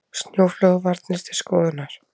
Snjóflóðavarnir til skoðunar